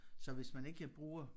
Så hvis man ikke bruger